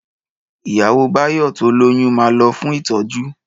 Ìyàwó Báyọ̀ tó lóyún ma lọ fún ìtọ́jú